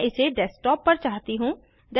मैं इसे डेस्कटॉप पर चाहती हूँ